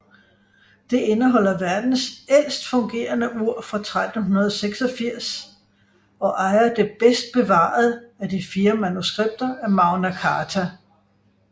Det indeholder verdens ældst fungerende ur fra 1386 og ejer det bedst bevarede af de fire manuskripter af Magna Carta